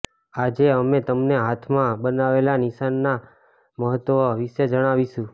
આજે અમે તમને હાથમાં બનાવેલા નિશાનના મહત્વ વિશે જણાવીશું